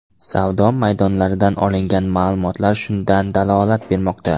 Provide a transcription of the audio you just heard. Savdo maydonlaridan olingan ma’lumotlar shundan dalolat bermoqda.